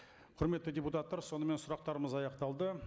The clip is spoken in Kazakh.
құрметті депутаттар сонымен сұрақтарымыз аяқталды